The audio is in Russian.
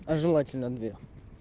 а желательно две